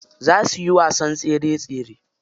Za suyi wasan tsere tsere.